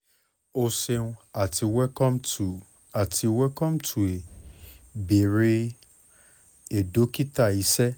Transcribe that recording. o ṣeun ati welcome to àti welcome to a bere a dokita iṣẹ